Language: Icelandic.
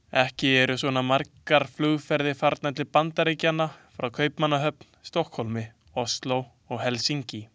Ekki eru svona margar flugferðir farnar til Bandaríkjanna frá Kaupmannahöfn, Stokkhólmi, Osló eða Helsinki.